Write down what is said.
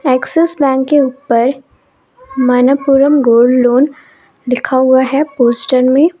Axis bank के ऊपर Manappuram gold loan लिखा हुआ है पोस्टर मे।